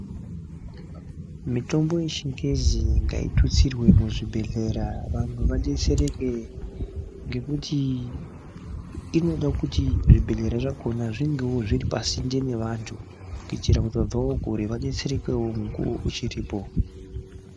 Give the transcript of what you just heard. Mitombo yechingezi ngaitutsirwe muzvibhedhlera vanhu vadetsereke ngekuti inoda kuti zvibhedhlera zvakona zvingeo zviri pasinte nevanthu kuitira kuti vabvao kure vadetserekeo mukuwo uchiripo.